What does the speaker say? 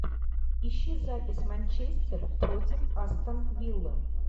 ищи запись манчестер против астон виллы